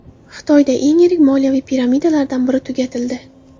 Xitoyda eng yirik moliyaviy piramidalardan biri tugatildi.